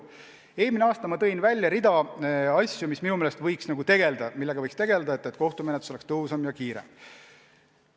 Eelmisel aastal ma tõin välja rea asju, millega minu meelest võiks tegelda, et kohtumenetlus oleks tõhusam ja kiirem.